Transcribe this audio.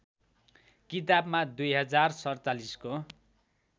किताबमा २०४७ को